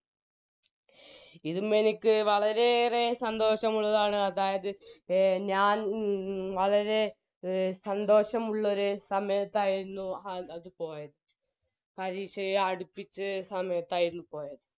ഇതും എനിക്ക് വളരെയേറെ സന്തോഷമുള്ളതാണ് അതായത് എ ഞാൻ വളരെ എ സന്തോഷമുള്ളരു സമയത്തായിരുന്നു അത് പോയത് പരീഷയെ അടുപ്പിച്ച് സമയത്തായിരുന്നു പോയത്